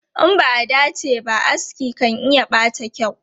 In ba a dace ba, aski kan iya ɓata kyau.